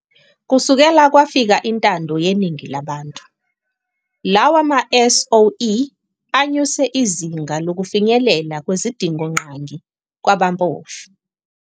Kusukela kwafika intando yeningi labantu, lawa ma-SOE anyuse izinga lokufinyelela kwezidingongqangi kwabampofu.